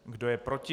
Kdo je proti?